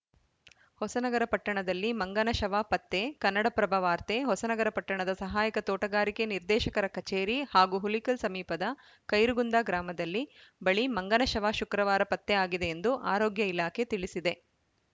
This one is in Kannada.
ಹೊಸನಗರ ಪಟ್ಟಣದಲ್ಲಿ ಮಂಗನ ಶವ ಪತ್ತೆ ಕನ್ನಡಪ್ರಭ ವಾರ್ತೆ ಹೊಸನಗರ ಪಟ್ಟಣದ ಸಹಾಯಕ ತೋಟಗಾರಿಕೆ ನಿರ್ದೇಶಕರ ಕಚೇರಿ ಹಾಗೂ ಹುಲಿಕಲ್‌ ಸಮೀಪದ ಖೈರುಗುಂದಾ ಗ್ರಾಮದಲ್ಲಿ ಬಳಿ ಮಂಗನ ಶವ ಶುಕ್ರವಾರ ಪತ್ತೆ ಆಗಿದೆ ಎಂದು ಆರೋಗ್ಯ ಇಲಾಖೆ ತಿಳಿಸಿದೆ